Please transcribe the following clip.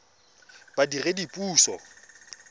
badiredipuso